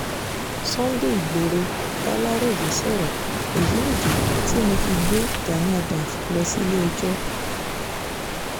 sunday igboro baláròyé sọ̀rọ̀ èyí nìdí tí mo fi gbé gani adams lọ sílé-ẹjọ́